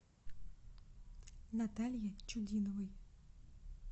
наталье чудиновой